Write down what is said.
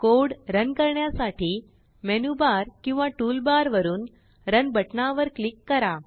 code run करण्यासाठीMenu bar किंवा tool bar वरुन रन बटना वर क्लिक करा